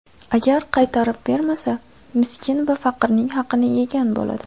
Agar qaytarib bermasa, miskin va faqirning haqini yegan bo‘ladi.